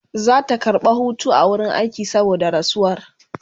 Zata karɓa Hutu a wurin aiki saboda rasuwar